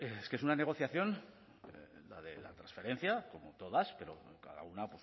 hombre es que es una negociación la de la transferencia como todas pero cada una